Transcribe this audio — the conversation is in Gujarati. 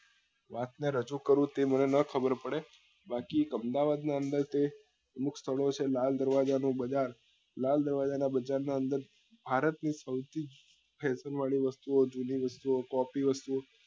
વાત ને રજુ કરું તે મને નાં ખબર પડે બાકી અમદાવાદ ના અંદર તો અમુક સ્થળો છે લાલ દરવાજા નો બજાર લાલ દરવાજા ના બજાર ના અંદર ભારત ની સૌથી fashion વાળી વસ્તુઓ જૂની વસ્તુઓ વસ્તુઓ